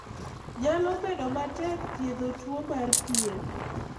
Nyalo bedo matek thiedho tuo mar pien